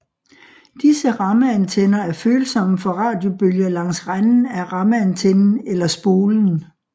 Disse rammeantenner er følsomme for radiobølger langs renden af rammeantennen eller spolen